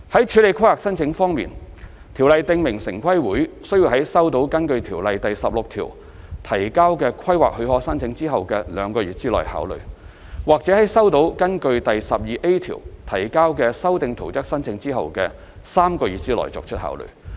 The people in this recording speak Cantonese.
處理規劃申請方面，《條例》訂明城規會須在收到根據《條例》第16條提交的規劃許可申請後的兩個月內考慮，或在收到根據第 12A 條提交的修訂圖則申請後的3個月內作出考慮。